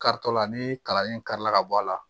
Karitɔ la ni kalanlen kari la ka bɔ a la